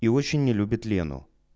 и очень не любит лену